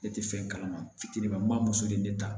Ne tɛ fɛn kalama fitinin ba ma n b'a muso de ta